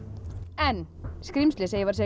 en skrímslið sem ég var að